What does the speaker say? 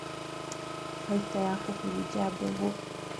Baita ya kũhurunja mbegũ